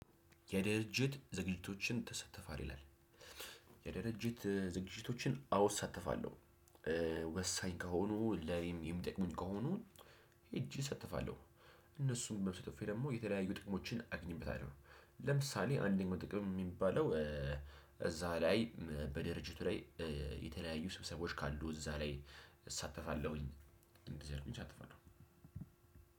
የድርጅት ዝግጅቶችን ትሳተፋለህ? የድርጅት ዝግጅቶችን አዋ እሳተፋለሁ። ወሳኝ ከሆኑ ለኔም የሚጠቅሙኝ ከሆኑ ሄጄ እሳተፋለሁ። እነሱም በመሳተፌ ደግሞ የተለያዩ ጥቅሞችን አገኝበታለሁ። ለምሳሌ አንደኛው ጥቅም የሚባለው እዛ ላይ በድርጅቱ ላይ። የተለያዩ ስብሰባዎች ካሉ እዛ ላይ እሳተፋለሁኝ። እንደዚህ እያደረግኩኝ እሳተፋለሁ።